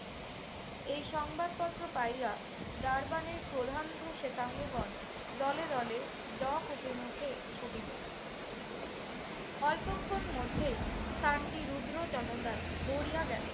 এই সংবাদপত্র পাইয়া ডারবানের প্রথান্ধ শেতাঙ্গগণ দলে দলে ডক অভিমুখে মুখে ছুটিল। অল্পক্ষণের মধ্যেই স্থানটি রুদ্র জনতায় ভরিয়া গেল।